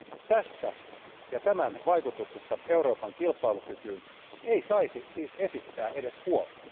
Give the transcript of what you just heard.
Tästä ja tämän vaikutuksesta Euroopan kilpailukykyyn ei saisi siis esittää edes huolta.